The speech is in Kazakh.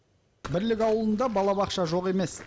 бірлік ауылында балабақша жоқ емес